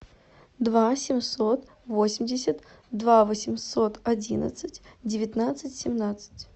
два семьсот восемьдесят два восемьсот одиннадцать девятнадцать семнадцать